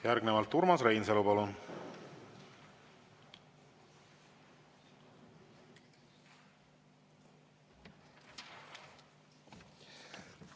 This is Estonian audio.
Järgnevalt Urmas Reinsalu, palun!